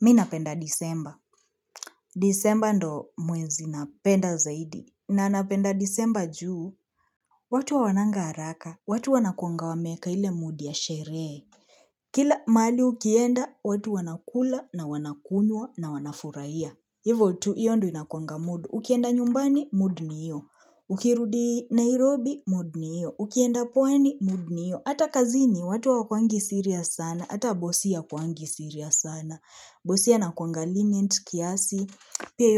Mi napenda disemba. Disemba ndo mwezi napenda zaidi. Na napenda disemba juu, watu hawananga haraka, watu wa nakuanga wa meeka ile mood ya sheree. Kila mali ukienda, watu wanakula na wanakunywa na wanafurahia. Hivotu, hiyo ndo inakuangamood. Ukienda nyumbani, mood niyo. Ukirudi Nairobi, mood niyo. Ukienda pwani, mood ni hiyo. Hata kazini, watu hawakuangi serious sana. Hata bosi hakwangi serious sana. Bosi pia ana kuanga lenient, pia hi